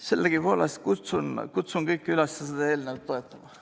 Sellegipoolest kutsun kõiki üles seda eelnõu toetama.